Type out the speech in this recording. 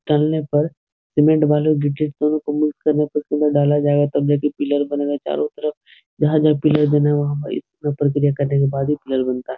तलने पर सीमेंट बालू गिट्टी तीनों को मिक्स करने पर पिलर ढाला जायेगा तब जाकर पिलर बनेगा चारो तरफ जहाॅं-जहाॅं पिलर बने हुए हैं वहाॅं यह प्रतिक्रिया करने के बाद ही पिलर बनता है।